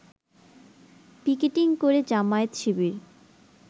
picketing করে জামায়াত শিবির